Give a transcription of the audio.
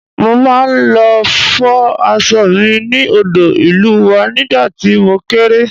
Mo máa ń lọ fọ aṣọ mi ní odò ìlú wa nígbà tí mo kéré